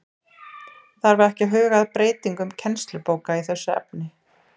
Þarf ekki að huga að breytingum kennslubóka í þessu efni?